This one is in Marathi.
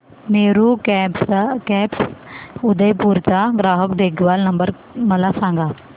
मेरू कॅब्स उदयपुर चा ग्राहक देखभाल नंबर मला सांगा